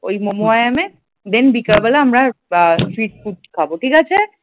ওই মমই ইয়ামে then বিকেল বেলায় আমরা আ street food খাব ঠিক আছে ।